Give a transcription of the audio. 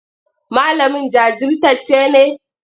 Malamin jajirtacce ne?